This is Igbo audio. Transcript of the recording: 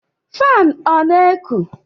Fanu ọ na eku?